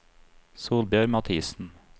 Solbjørg Mathisen